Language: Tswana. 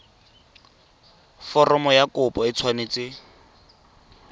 foromo ya kopo e tshwanetse